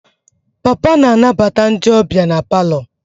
Papa na-anabata ndị ọbịa na palọ.